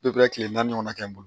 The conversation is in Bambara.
kile naani ɲɔgɔnna kɛ n bolo